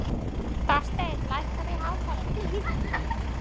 Þorsteinn, lækkaðu í hátalaranum.